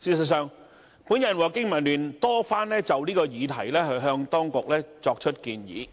事實上，我和香港經濟民生聯盟多番就此議題向當局作出建議，